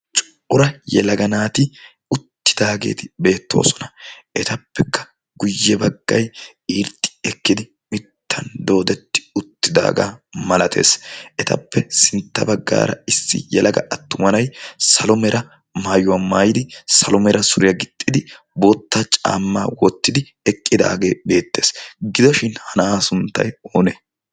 cora yalaga naati uttidaageeti beettoosona. etappekka guyye baggay irxxi ekkidi mittan doodetti uttidaagaa malatees etappe sintta baggaara issi yalaga attumanay salomera maayuwaa maayidi salo meera suriyaa gixxidi bootta caamma wottidi eqqidaagee beettees. gidoshin ha na'aa sunttay oonee?